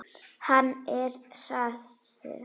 Hann er hraður.